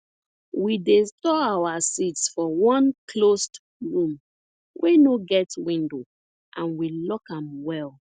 we dey store our seeds for one closed room wey no get window and we lock am well